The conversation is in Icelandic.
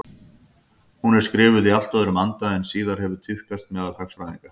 Hún er skrifuð í allt öðrum anda en síðar hefur tíðkast meðal hagfræðinga.